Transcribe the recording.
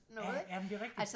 Ja ja men det rigtig